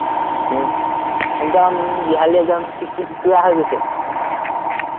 উম একদম বিহালী একদম চিকচিকিয়া হৈ গৈছে